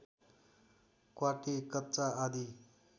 क्वाँटी कच्चा आदि